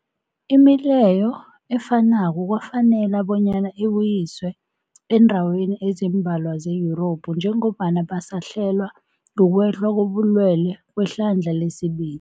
Imileyo efanako kwafanela bonyana ibuyiswe eendaweni ezimbalwa ze-Yurophu njengombana basahlelwa, kukwehla kobulwele kwehlandla lesibili.